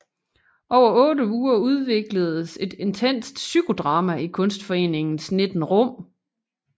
Over 8 uger udvikledes et intenst psykodrama i Kunstforeningens 19 rum